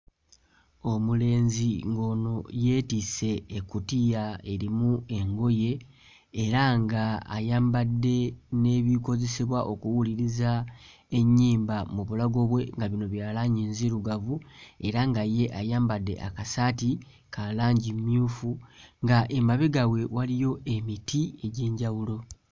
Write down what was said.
Omulenzi ng'ono yeetisse ekkutiya erimu engoye era ng'ayambadde n'ebikozesebwa okuwuliriza ennyimba mu bulago bwe nga bino bya langi nzirugavu era nga ye ayambadde akasaati ka langi mmyufu ng'emabega we waliyo emiti egy'enjawulo.